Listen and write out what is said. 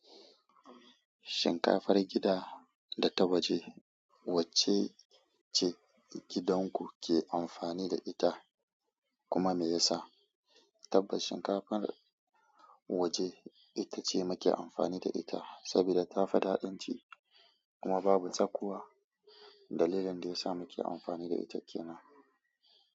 Shinkafar gida da ta waje wacce ce gidan ku ke amfani da ita kuma me yasa? Tabbas shinkafar waje itace muke amfani da ita saboda tafi ɗaɗin ci kuma babu tsakuwa. Dalilin da yasa muke amfani da ita kenan.